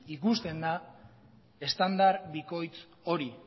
ikusten da estandar bikoitz hori